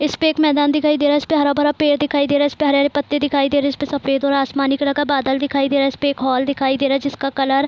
इस पे एक मैदान दिखाई दे रहा है इस पे हरा-भरा पेड़ दिखाई दे रहा है इसपे हरे-हरे पत्ते दिखाई दे रहे है इसपे सफेद और आसमानी कलर का बादल दिखाई दे रहा है इसपे एक हॉल दिखाई दे रहा है जिसका कलर --